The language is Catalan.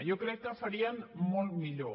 jo crec que farien molt millor